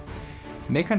megan